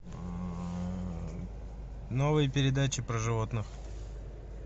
новые передачи про животных